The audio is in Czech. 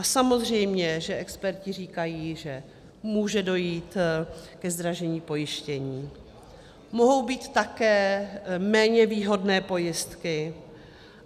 A samozřejmě že experti říkají, že může dojít ke zdražení pojištění, mohou být také méně výhodné pojistky.